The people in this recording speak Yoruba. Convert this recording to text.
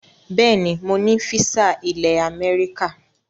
Bẹẹ ni mo ní físà ilẹ̀ Amẹ́ríkà